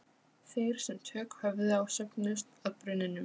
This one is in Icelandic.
Loks þarf að tilkynna ákvörðunina til hlutafélagaskrár.